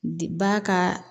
Di ba ka